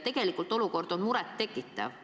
Tegelik olukord on muret tekitav.